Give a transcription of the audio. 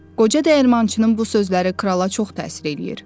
Qoca dəyirmançının bu sözləri krala çox təsir eləyir.